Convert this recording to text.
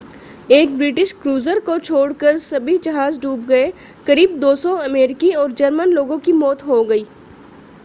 एक British cruiser को छोड़कर सभी जहाज़ डूब गए करीब 200 अमेरिकी और जर्मन लोगों की मौत हो गई